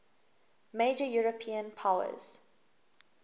major european powers